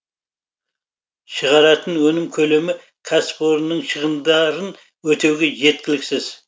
шығаратын өнім көлемі кәсіпорынның шығындарын өтеуге жеткіліксіз